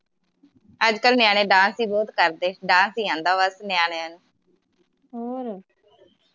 ਅਜਕਲ ਨਿਆਣੇ dance ਈ ਬਹੁਤ ਕਰਦੇ dance ਈ ਆਂਦਾ ਬਸ ਨਿਆਣਿਆਂ ਨੂੰ